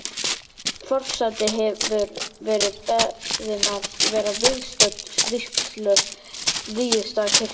Forseti hefur verið beðin að vera viðstödd vígslu Víðistaðakirkju í